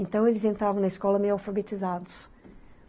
Então, eles entravam na escola meio alfabetizados.